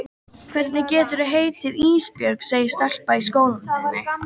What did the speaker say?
Hvernig geturðu heitið Ísbjörg, segir stelpa í skólanum við mig.